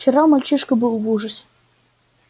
вчера мальчишка был в ужасе